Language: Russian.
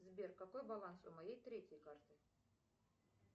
сбер какой баланс у моей третьей карты